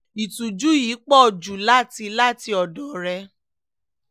ìtújú yìí pọ̀ jù láti láti ọ̀dọ̀ rẹ̀